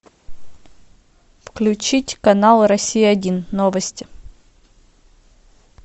включить канал россия один новости